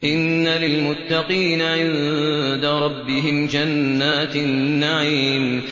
إِنَّ لِلْمُتَّقِينَ عِندَ رَبِّهِمْ جَنَّاتِ النَّعِيمِ